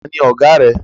Taàní Ọ̀gá rẹ?